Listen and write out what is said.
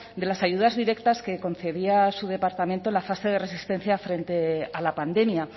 de las ayudas directas que concedía su departamento en la fase de resistencia frente a la pandemia